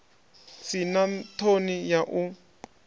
si na ṱhoni ya u